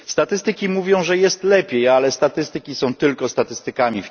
Statystyki mówią, że jest lepiej, ale statystyki są tylko statystykami.